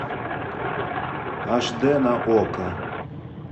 аш д на окко